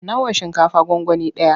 Nawa shinkafa gwangwani ɗaya?